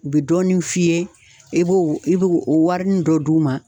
U be dɔɔnin f'i ye e b'o i b'o o warinin dɔ d'u ma